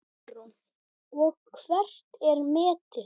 Hugrún: Og hvert er metið?